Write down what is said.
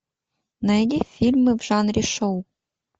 найди фильмы в жанре шоу